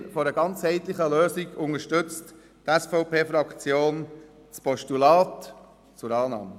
Im Sinne einer ganzheitlichen Lösung empfiehlt die SVP-Fraktion ein Postulat zur Annahme.